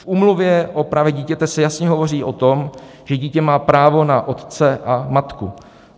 V Úmluvě o právech dítěte se jasně hovoří o tom, že dítě má právo na otce a matku.